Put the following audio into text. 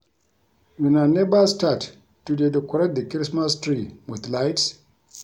Una never start to dey decorate the Christmas tree with lights?